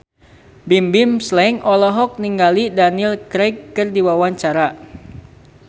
Bimbim Slank olohok ningali Daniel Craig keur diwawancara